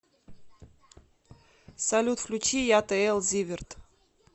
салют включи ятл зиверт